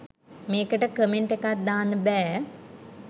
මේකට කමෙන්ට් එකක් දාන්න බෑ